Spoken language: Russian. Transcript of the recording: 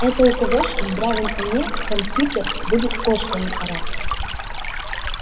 это у кого ж в здравом уме кампьютир будет кошками орать